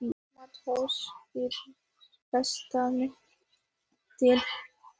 MATTHÍAS: Þeir streyma til hans.